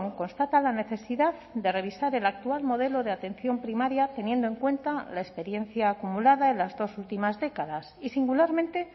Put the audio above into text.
constata la necesidad de revisar el actual modelo de atención primaria teniendo en cuenta la experiencia acumulada en las dos últimas décadas y singularmente